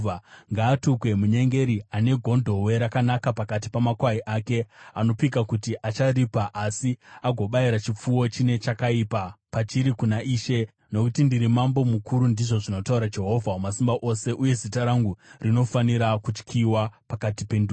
“Ngaatukwe munyengeri ane gondobwe rakanaka pakati pamakwai ake, anopika kuti acharipa, asi agobayira chipfuwo chine chakaipa pachiri kuna Ishe. Nokuti ndiri mambo mukuru,” ndizvo zvinotaura Jehovha Wamasimba Ose, “uye zita rangu rinofanira kutyiwa pakati pendudzi.